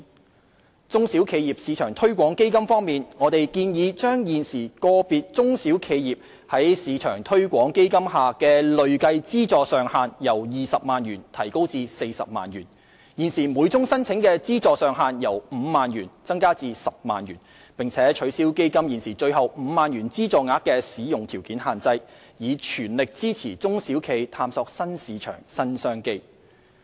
在"中小企業市場推廣基金"方面，我們建議將現時個別中小企業在"市場推廣基金"下的累計資助上限由20萬元提高至40萬元、現時每宗申請的資助上限由5萬元增加至10萬元，並取消基金現時最後5萬元資助額的使用條件限制，以全力支持中小企業探索新市場、新商機。